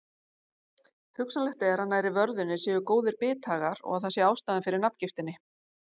Hugsanlegt er að nærri vörðunni séu góðir bithagar og að það sé ástæðan fyrir nafngiftinni.